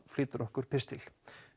flytur okkur pistil